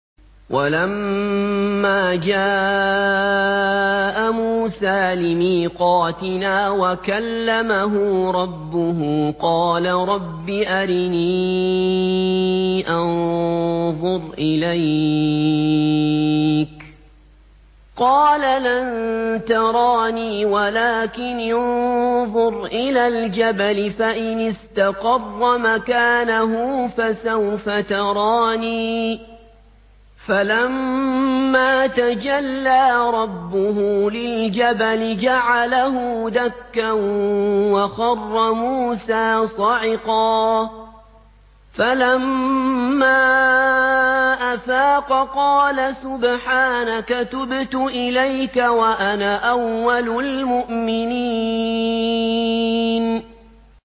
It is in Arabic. وَلَمَّا جَاءَ مُوسَىٰ لِمِيقَاتِنَا وَكَلَّمَهُ رَبُّهُ قَالَ رَبِّ أَرِنِي أَنظُرْ إِلَيْكَ ۚ قَالَ لَن تَرَانِي وَلَٰكِنِ انظُرْ إِلَى الْجَبَلِ فَإِنِ اسْتَقَرَّ مَكَانَهُ فَسَوْفَ تَرَانِي ۚ فَلَمَّا تَجَلَّىٰ رَبُّهُ لِلْجَبَلِ جَعَلَهُ دَكًّا وَخَرَّ مُوسَىٰ صَعِقًا ۚ فَلَمَّا أَفَاقَ قَالَ سُبْحَانَكَ تُبْتُ إِلَيْكَ وَأَنَا أَوَّلُ الْمُؤْمِنِينَ